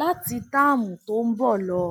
láti taàmù tó ń bọ lọ